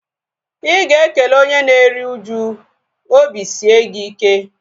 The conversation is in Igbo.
Ịga ekele onye na-eri uju "obi sie gị ike"